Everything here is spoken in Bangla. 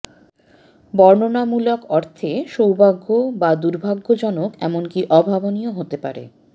বর্ণনামূলক অর্থে সৌভাগ্য বা দুর্ভাগ্যজনক এমনকি অভাবনীয় হতে পারে